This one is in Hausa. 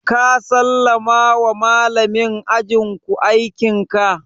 Ka sallama wa malamin ajin ku aikin ka?